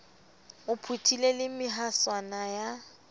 o phuthile le mehaswana ya